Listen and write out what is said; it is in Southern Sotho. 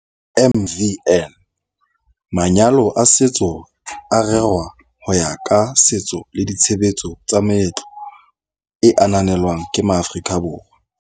MvN- Manyalo a setso a rerwa ho ya ka setso le ditshebetso tsa meetlo e ananelwang ke maAforika Borwa.